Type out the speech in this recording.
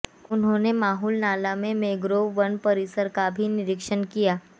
उन्होंने माहुल नाला के मैंग्रोव वन परिसर का भी निरीक्षण किया